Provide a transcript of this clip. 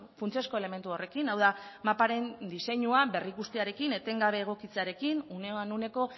funtsezko elementu horrekin hau da maparen diseinua berrikustearekin etengabe egokitzearekin unean uneko